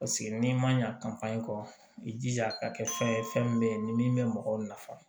Paseke n'i ma ɲa kɔ i jija ka kɛ fɛn ye fɛn min bɛ ye ni min bɛ mɔgɔw nafa